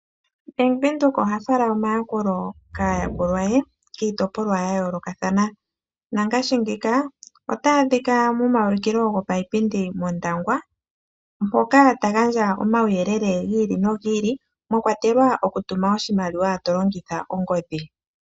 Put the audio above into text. Bank windhoek oha fala omayakulo kaayakulwa ye kiitopolwa ya yolokathana. Nangashi ngeyi otaya adhika momaulikilo gopaipindi mOndangwa mpoka ta gandja omauyelele gi ili nogi ili mwa kwatelwa oku tuma oshimaliwa tolongitha ongodhi.